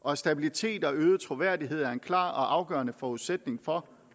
og stabilitet og øget troværdighed er en klar og afgørende forudsætning for